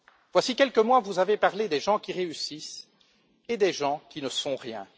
Voici quelques mois, vous avez parlé des gens qui réussissent et des gens qui ne sont rien.